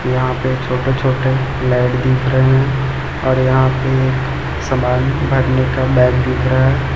यहां पे छोटे छोटे लाइट दिख रहे हैं और यहां पे एक समान भरने का बैग दिख रहा--